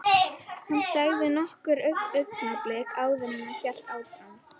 Hann þagði nokkur augnablik áður en hann hélt áfram.